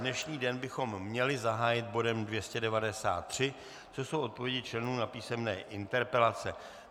Dnešní den bychom měli zahájit bodem 293, což jsou odpovědi členů na písemné interpelace.